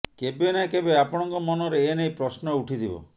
କେବେ ନା କେବେ ଆପଣଙ୍କ ମନରେ ଏନେଇ ପ୍ରଶ୍ନ ଉଠିଥିବ